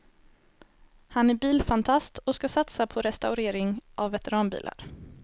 Han är bilfantast och ska satsa på restaurering av veteranbilar.